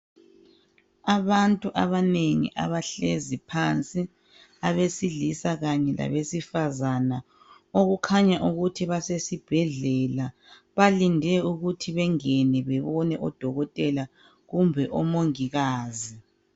Abantu abanengi abahlezi phansi abesilisa kanye labesifazana okukhanya ukuthi basesibhedlela Balinde ukuthi bengene bebone odokotela kumbe omongikazi